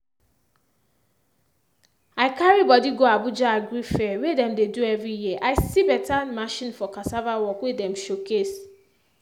i carry body go abuja agri fair wey dem dey do every year i see beta new machine for cassava work wey dem showcase.